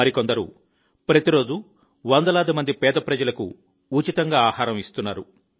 మరికొందరు ప్రతిరోజూ వందలాది మంది పేద ప్రజలకు ఉచితంగా ఆహారం ఇస్తున్నారు